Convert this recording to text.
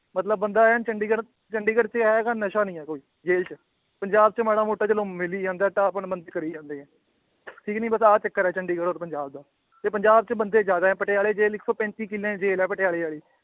ਮਤਲਬ ਬੰਦਾ ਐਨ ਚੰਡੀਗੜ੍ਹ ਚੰਡੀਗੜ੍ਹ ਚ ਜਾਏਗਾ ਨਸ਼ਾ ਨੀ ਹੈ ਕੋਈ ਜੇਲ੍ਹ ਪੰਜਾਬ ਚ ਮਾੜਾ ਮੋਟਾ ਚਲੋ ਮਿਲ ਹੀ ਜਾਂਦਾ, ਢਾਹ ਭੰਨ ਬੰਦੇ ਕਰੀ ਜਾਂਦੇ ਹੈ ਠੀਕ ਨੀ ਬਸ ਆਹ ਚੱਕਰ ਹੈ ਚੰਡੀਗੜ੍ਹ ਔਰ ਪੰਜਾਬ ਦਾ, ਤੇ ਪੰਜਾਬ ਚ ਬੰਦੇ ਜ਼ਿਆਦੇ ਹੈ ਪਟਿਆਲੇ ਜੇਲ੍ਹ ਇੱਕ ਸੌ ਪੈਂਤੀ ਕਿੱਲਿਆਂ ਦੀ ਜੇਲ੍ਹ ਹੈ ਪਟਿਆਲੇ ਵਾਲੀ।